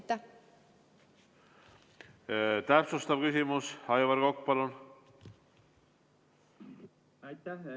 Täpsustav küsimus, Aivar Kokk, palun!